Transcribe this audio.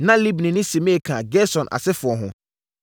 Na Libni ne Simei ka Gerson asefoɔ ho.